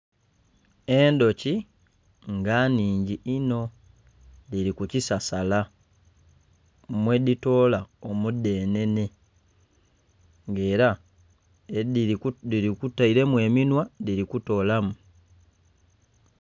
endhuki nga nhhingi inho, dhili ku kisasasala mwedhitoola omudhenhenhe nga ela dhitailemu eminwa dhili kutoolamu.